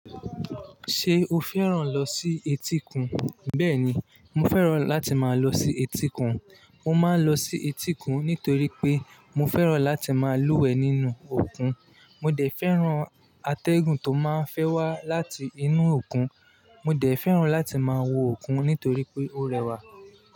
Ṣé o fẹ́ràn lọ sí etíkun? Bẹ́ẹ̀ni, mo fẹ́ràn láti máa lọ sí etíkun. Mo máa ń lọ sí etíkun nítorí pé mo fẹ́ràn láti máa lúwẹ̀ẹ́ nínú òkun. Mo dẹ̀ fẹ́ràn atẹ́gùn tó máa ń fẹ́ wá láti inú òkun. Mo dẹ̀ fẹ́ràn láti máa wo òkun nítorí pé ó rẹwà.